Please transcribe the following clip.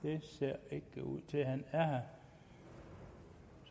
det ud til at han er her